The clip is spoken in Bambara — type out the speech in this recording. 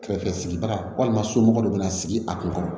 Kɛrɛfɛ sigibaga walima somɔgɔ dɔ bɛna sigi a kun kɔrɔ